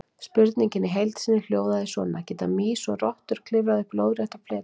Spurningin í heild sinni hljóðaði svona: Geta mýs og rottur klifrað upp lóðrétta fleti?